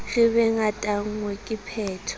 re be ngatanngwe ke pheto